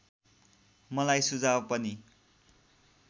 मलाई सुझाव पनि